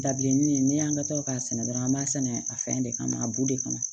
Dabilennin ne y'an ka tɔ k'a sɛnɛ dɔrɔn an b'a sɛnɛ a fɛn de kama a bu de kama